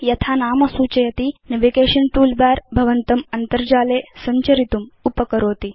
यथा नाम सूचयति नेविगेशन टूलबार भवन्तम् अन्तर्जाले सञ्चरितुम् उपकरोति